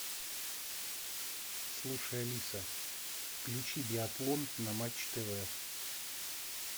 слушай алиса включи биатлон на матч тв